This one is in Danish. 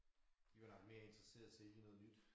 De var nok mere interesseret sælge noget nyt